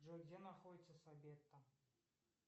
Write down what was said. джой где находиться сабетта